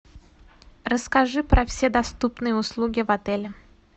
расскажи про все доступные услуги в отеле